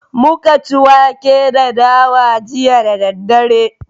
Muka ci wake da dawa jiya da daddare